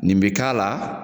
Nin bi k'a la